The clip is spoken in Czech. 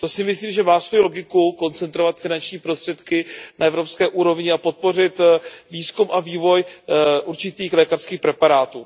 Myslím si, že to má logiku, koncentrovat finanční prostředky na evropské úrovni a podpořit výzkum a vývoj určitých lékařských preparátů.